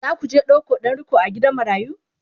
zaku je ɗauko ɗan riƙo a gidan marayu?